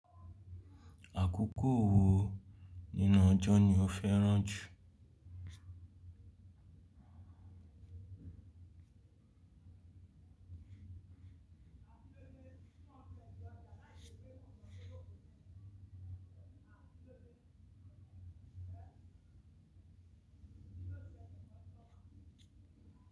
Àkókò wo nínú ọjọ́ ni o fẹ́ràn jù?